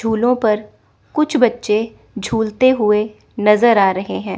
झूलों पर कुछ बच्चे झूलते हुए नजर आ रहे हैं।